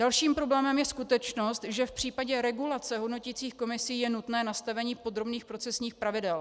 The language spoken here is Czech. Dalším problémem je skutečnost, že v případě regulace hodnoticích komisí je nutné nastavení podrobných procesních pravidel.